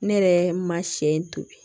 Ne yɛrɛ ma sɛ to yen